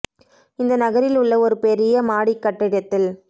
இந்த நகரில் உள்ள ஒரு பெரிய மாடி கட்டித்தில்